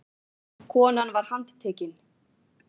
Konan var handtekin